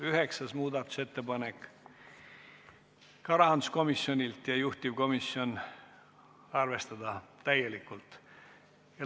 Üheksas muudatusettepanek – samuti rahanduskomisjonilt ja juhtivkomisjon on arvestanud täielikult.